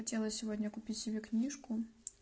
хотела сегодня купить себе книжку